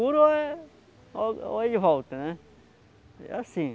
Olha olha em volta né, assim.